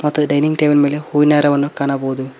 ಮತ್ತು dining table ಮೇಲೆ ಹೂವಿನ ಹಾರವನ್ನು ಕಾಣಬಹುದು.